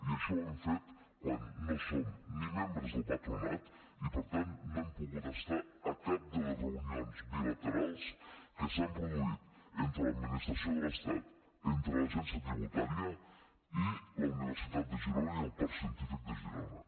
i això ho hem fet quan no som ni membres del patronat i per tant no hem pogut estar a cap de les reunions bilaterals que s’han produït entre l’administració de l’estat entre l’agència tributària i la universitat de girona i el parc científic de girona